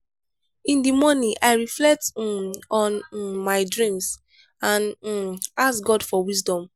in di morning i reflect um on um my dreams and um ask god for wisdom.